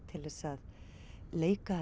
til að leika